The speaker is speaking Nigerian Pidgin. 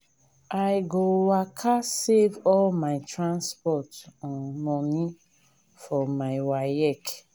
i go waka save all my transport um moni for my waec.